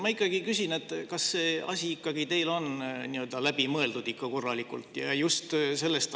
Ma ikkagi küsin, kas see asi on teil ikka korralikult läbi mõeldud.